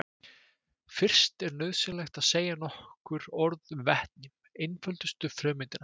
Fyrst er nauðsynlegt að segja nokkur orð um vetni, einföldustu frumeindina.